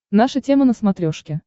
наша тема на смотрешке